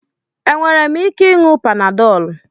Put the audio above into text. Enwere m ike ị nuo Panadol?